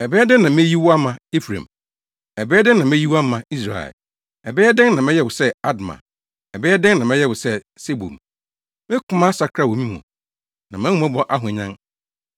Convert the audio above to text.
“Ɛbɛyɛ dɛn na meyi wo ama, Efraim? Ɛbɛyɛ dɛn ma meyi wo ama, Israel? Ɛbɛyɛ dɛn na mɛyɛ wo sɛ Adma? Ɛbɛyɛ dɛn na mɛyɛ wo sɛ Seboim? Me koma asakra wɔ me mu; na mʼahummɔbɔ ahwanyan.